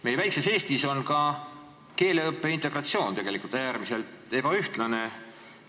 Meie väikses Eestis on ka keeleõpe ja integratsioon tegelikult äärmiselt ebaühtlasel tasemel.